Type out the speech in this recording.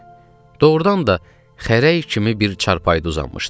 Doğrudan da xərək kimi bir çarpayıda uzanmışdı.